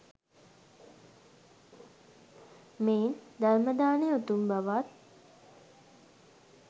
මෙයින් ධර්ම දානය උතුම් බවත්